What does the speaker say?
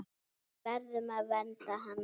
Við verðum að vernda hana.